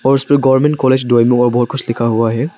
उसपे पर government college कुछ लिखा हुआ है।